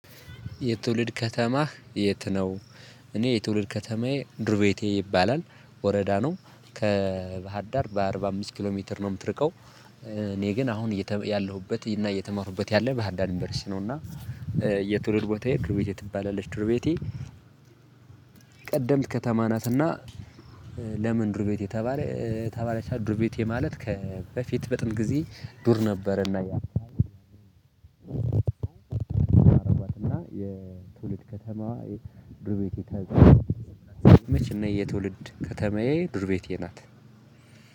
የትውልድ ከተማህ የት ነው? እኔ የትውልድ ከተማዬ ዱርቤቴ ይባላል ወረዳ ነው ከባህርዳር በአርባ አምስት ኪሎ ሜትር ነው የምትርቀው። እኔ ግን አሁን ያለሁበት እና እየተማሩበት ያለ በባህርዳር ዩንቨርስቲ ነው እና። የትውልድ ቦታ የዱርቤቴ ትባላለች ዱርቤቴ። ቀደምት ከተማ ናትና። ለምን ዱር ቤት የተባለ ተባለቻ ዱር ቤት ማለት ከበፊት በጥንት ጊዜ ዱር ነበረና ያየሁት አሏትና የትውልድ ከተማ የድርቤቴ ከተማ መቼ ነው? የትውልድ ከተማዬ ድርቤቴ ናት።